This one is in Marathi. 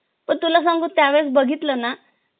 पण तुला सांगू त्या वेळेस बघितल ना